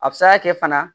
A bɛ se ka kɛ fana